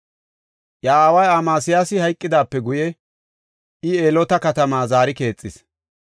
Iya aaway Amasiyaasi hayqidaape guye I Eloota katamaa zaari keexis.